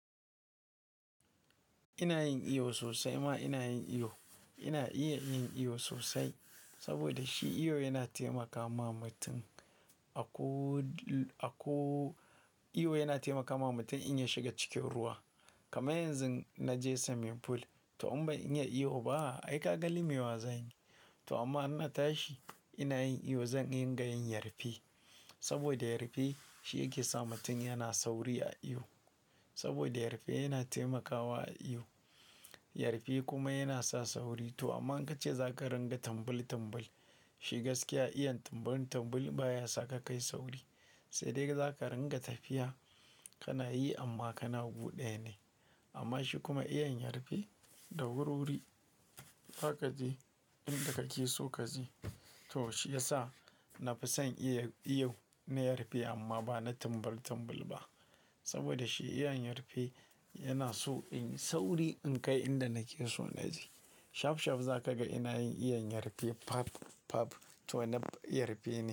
Ina yin iyo sosai ma ina yin iyo. Ina iya yin iyo sosai saboda shi iyo yana taimaka ma mutum. Ako-- iyo yana taimakawa mutum in ya shiga cikin ruwa. Kama yanzu na je swimming pool to amma in yi iyo ba, ai ka gani mai wazabi. To amma ina tashi ina yin iyo zan rika yin yarfe. Saboda yarfe shi yake sa mutum yana sauri a iyo. Saboda yarfe yana taimakawa a iyo. Yarfe kuma yana sa sauri. To amma in ka ce za ka ringa tambul tambul, shi gaskiya iya tambul tambul baya sa ka kai sauri. Sai dai za ka ringa tafiya ka na yi amma ka na wuce ɗaya ne. Amma shi kuma iya yin yarfe da wurwuri, haka ji inda ka ke so ka je. To shi ya sa na fi son iya iyo na yarfe amma ba na tambul tambul ba. Saboda shi iya yin yarfe yana so in yi sauri in kai inda na ke so na je. Shaf shaf za ka ga ina yin iya yarfe pfaf pfaf to na yarfe.